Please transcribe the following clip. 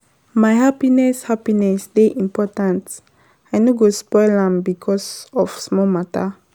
My happiness happiness dey important, I no go spoil am because of small mata.